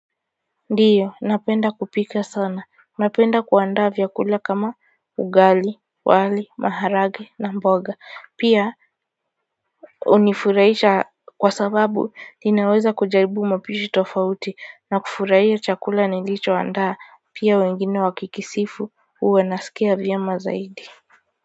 Ndiyo napenda kupika sana. Napenda kuandaa vyakula kama ugali, wali maharagwe na mboga. Pia hunifurahisha kwa sababu inaweza kujaribu mapishi tofauti na kufurahia chakula nilicho andaa pia wengine wakikisifu huwa nasikia vyema zaidi kwa hivyo,